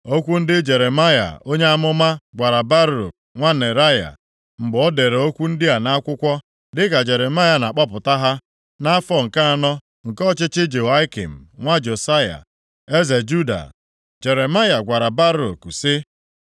Okwu ndị Jeremaya onye amụma gwara Baruk nwa Neraya, mgbe o dere okwu ndị a nʼakwụkwọ dịka Jeremaya na-akpọpụta ha, nʼafọ nke anọ nke ọchịchị Jehoiakim nwa Josaya eze Juda. Jeremaya gwara Baruk sị,